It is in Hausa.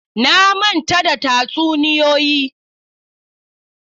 Na manta da tatsuniyoyi.